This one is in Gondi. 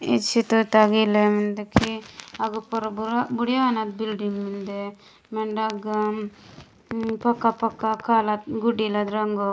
ई चित्र तगा इलेन मेन्दे की अग पोरो बुड़िया नद बिल्डिंग मेन्दे मेंडे अगा पक्का - पक्का काला गुड्डीला रंगो --